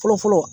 Fɔlɔ fɔlɔ